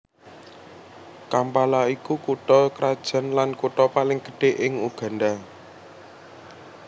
Kampala iku kutha krajan lan kutha paling gedhé ing Uganda